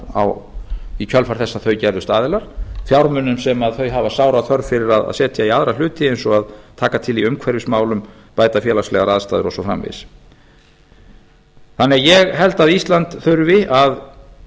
vígbúnaðar í kjölfar þess að þau gerðust aðilar fjármunum sem þau hafa sára þörf fyrir að setja í aðra hluti eins og að taka til í umhverfismálum bæta félagslegar aðstæður og svo framvegis ég held því að ísland þurfi að